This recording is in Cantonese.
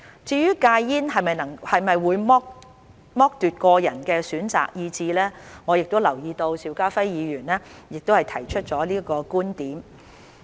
至於戒煙是否會剝奪個人選擇的意志，我留意到邵家輝議員亦提出了這個觀點。